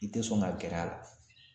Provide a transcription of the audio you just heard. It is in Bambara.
I te sɔn ka gɛrɛ a la